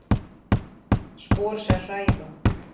Spor sem hræða.